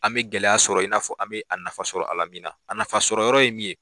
An bɛ gɛlɛya sɔrɔ in n'a fɔ an bɛ a nafa sɔrɔ a la min na a nafasɔrɔyɔrɔ ye min ye